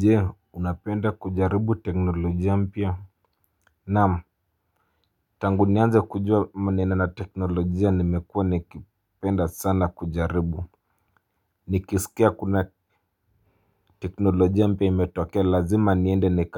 Jee unapenda kujaribu teknolojia mpya. Naam. Tangu nianze kujua maneno na teknolojia nimekua nikipenda sana kujaribu. Nikisikia kuna teknolojia mpya imetokea lazima niende